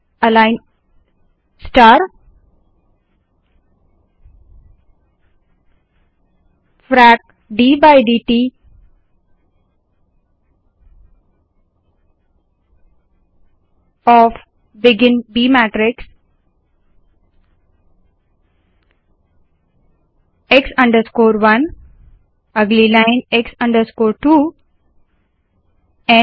align star align star begin b matrix begin b matrix का frac d by डिट x 1 अगली line x 2 end b matrix